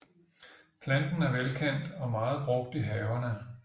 Planten er velkendt og meget brugt i haverne